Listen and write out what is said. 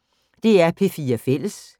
DR P4 Fælles